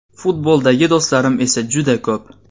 Futboldagi do‘stlarim esa juda ko‘p.